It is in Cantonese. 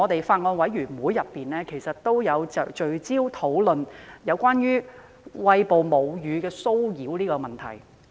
法案委員會曾聚焦討論有關餵哺母乳的騷擾問題。